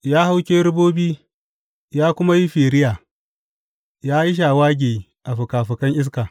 Ya hau kerubobi ya kuma yi firiya; ya yi shawagi a fikafikan iska.